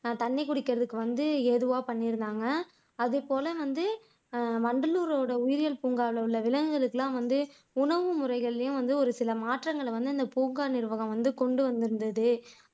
தண்ணி குடிக்கிறதுக்கு வந்து எதுவா பண்ணியிருந்தாங்க அதேபோல வந்து வண்டலூரோட உயிரியல் பூங்காவுல உள்ள விலங்குகளுக்கு எல்லாம் வந்து உணவு முறைகள்லையும் வந்து ஒரு சில மாற்றங்களை வந்து அந்த பூங்கா நிர்வாகம் வந்து கொண்டு வந்து இருந்தது